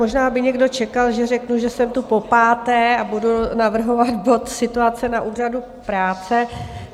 Možná by někdo čekal, že řeknu, že jsem tu popáté a budu navrhovat bod Situace na Úřadu práce.